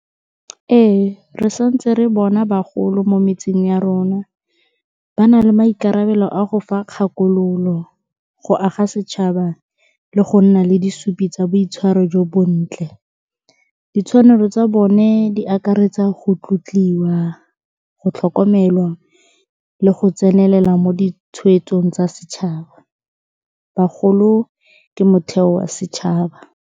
Ee, re sa ntse re bona bagolo mo metseng ya rona ba na le maikarabelo a go fa kgakololo, go aga setšhaba, le go nna le disupi tsa boitshwaro jo bontle. Ditshwanelo tsa bone di akaretsa go tlotliwa, go tlhokomelwa le go tsenelela mo ditshwetsong tsa setšhaba. Bagolo ke motheo wa setšhaba.